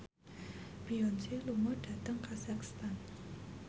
Beyonce lunga dhateng kazakhstan